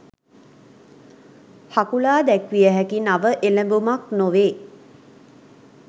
හකුලා දැක්විය හැකි නව එළඹුමක් නොවේ